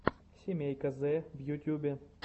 семейка зэ в ютьюбе